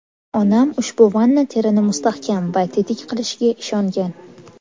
Onam ushbu vanna terini mustahkam va tetik qilishiga ishongan”.